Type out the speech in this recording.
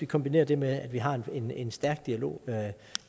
kombinerer det med at vi har en en stærk dialog med